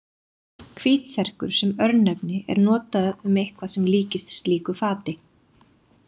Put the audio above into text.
Hvítserkur sem örnefni er notað um eitthvað sem líkist slíku fati.